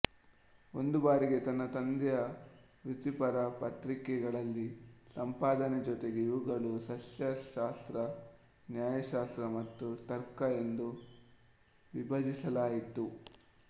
ಒಂದು ಬಾರಿಗೆ ತನ್ನ ತಂದೆಯ ವೃತ್ತಿಪರ ಪತ್ರಿಕೆಗಳಲ್ಲಿ ಸಂಪಾದನೆ ಜೊತೆಗೆ ಇವುಗಳು ಸಸ್ಯಶಾಸ್ತ್ರ ನ್ಯಾಯಶಾಸ್ತ್ರ ಮತ್ತು ತರ್ಕ ಎಂದು ವಿಭಜಿಸಲಾಯಿತು